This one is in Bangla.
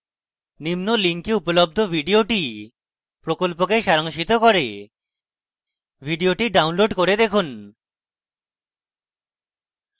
নিম্ন link উপলব্ধ video প্রকল্পকে সারাংশিত করে video download করে দেখুন